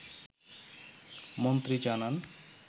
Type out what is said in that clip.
মন্ত্রী জানান